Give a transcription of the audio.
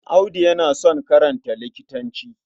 Audu yana son karanta likitanci.